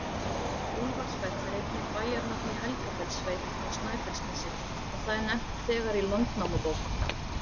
Úlfarsfell er einnig bæjarnafn í Helgafellssveit á Snæfellsnesi, og það er nefnt þegar í Landnámabók.